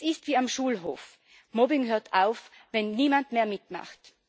Es ist wie auf dem Schulhof Mobbing hört auf, wenn niemand mehr mitmacht.